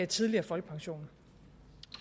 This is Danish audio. tidligere folkepension